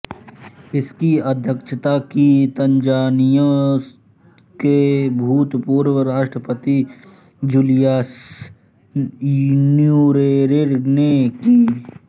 इसकी अध्यक्षता भी तंजानिया के भूतपूर्व राष्ट्रपति जूलियस न्येरेरे ने की